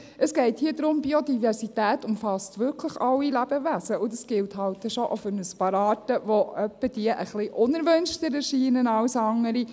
Es geht hier darum, dass Biodiversität wirklich alle Lebewesen umfasst, und das gilt halt dann schon auch für ein paar Arten, die hin und wieder etwas unerwünschter erscheinen als andere.